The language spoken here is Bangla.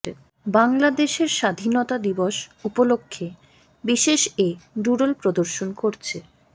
বাংলাদেশের স্বাধীনতা দিবস উপলক্ষে বিশেষ এ ডুডল প্রদর্শন করছে